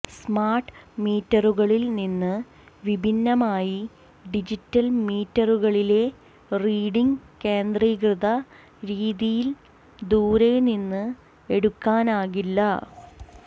smart മീറ്ററുകളിൽ നിന്ന് വിഭിന്നമായി ഡിജിറ്റൽ മീറ്ററുകളിലെ റീഡിംഗ് കേന്ദ്രീകൃത രീതിയിൽ ദൂരെ നിന്ന് എടുക്കാനാകില്ല